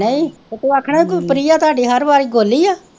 ਨਹੀਂ ਤੇ ਤੂੰ ਆਖਣਾ ਸੀ ਕਿ ਪ੍ਰਿਯਾ ਤੁਹਾਡੀ ਹਰ ਵਾਰ ਗੋਲੀ ਆ